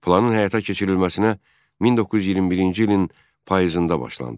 Planın həyata keçirilməsinə 1921-ci ilin payızında başlandı.